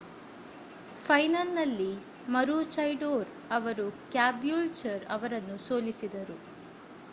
ಫೈನಲ್‌ನಲ್ಲಿ ಮರೂಚೈಡೋರ್ ಅವರು ಕ್ಯಾಬೂಲ್ಚರ್ ಅವರನ್ನು ಸೋಲಿಸಿದರು